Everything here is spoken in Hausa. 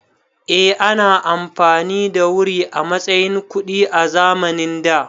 Eh, ana amfani da wuri a matsayin kuɗi a zamanin da